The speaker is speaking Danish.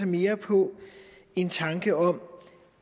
mere på en tanke om